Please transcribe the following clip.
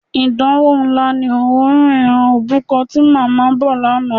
Ìdánwò ńlá ni òórùn e̩ran òbúko̩ ti mò̩mó̩ bò̩ lánàá.